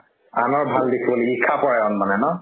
আনৰ ভাল দেখিব নিবি~ মানে ন